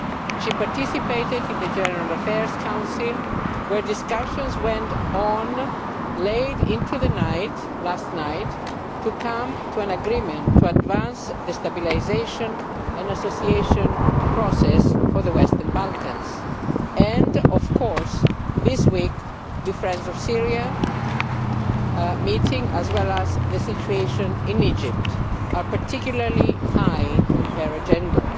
She participated in the General Affairs Council, where discussions went on late into the night last night to come to an agreement to advance the stabilisation and association process for the Western Balkans, and of course this week the Friends of Syria meeting as well as the situation in Egypt are particularly high on her agenda.